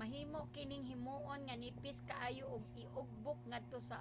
mahimo kining himoon nga nipis kaayo ug iugbok ngadto sa